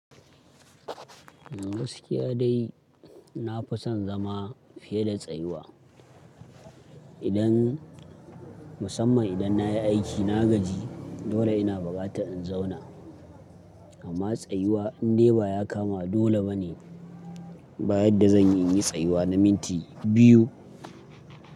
Gaskiya dai na fi son zama fiye da tsayuwa. Idan musamman idan na yi aiki, na gaji, dole ina buƙatar in zauna. Amma tsayuwa in dai ba ya kama dole ba ne, ba yadda zan iya yin tsayuwa na minti biyu.